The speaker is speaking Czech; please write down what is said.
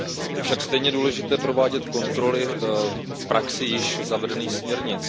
Je však stejně důležité provádět kontroly v praxi již zavedených směrnic.